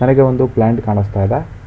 ನನಗೆ ಒಂದು ಪ್ಲಾಂಟ್ ಕಾಣಿಸ್ತಾ ಇದೆ.